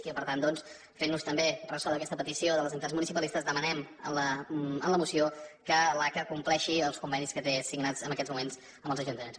i per tant doncs fent nos també ressò d’aquesta petició de les entitats municipalistes demanem en la moció que l’aca compleixi els convenis que té signats en aquests moments amb els ajuntaments